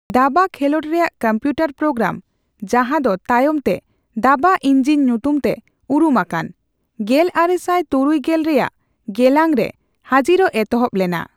ᱫᱟᱵᱟ ᱠᱷᱮᱞᱚᱸᱰ ᱨᱮᱭᱟᱜ ᱠᱚᱢᱯᱤᱭᱩᱴᱟᱨ ᱯᱳᱜᱨᱟᱢ, ᱡᱟᱦᱟᱸᱫᱚ ᱛᱟᱭᱚᱢᱛᱮ ᱫᱟᱵᱟ ᱤᱧᱡᱤᱱ ᱧᱩᱛᱩᱢᱛᱮ ᱩᱨᱩᱢ ᱟᱠᱟᱱ, ᱜᱮᱞᱟᱨᱮᱥᱟᱭ ᱛᱩᱨᱩᱭ ᱜᱮᱞ ᱨᱮᱭᱟᱜ ᱜᱮᱞᱟᱝᱨᱮ ᱦᱟᱹᱡᱤᱨᱚᱜ ᱮᱛᱚᱦᱚᱵ ᱞᱮᱱᱟ ᱾